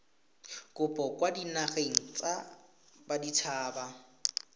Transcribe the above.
kopo kwa dinageng tsa baditshaba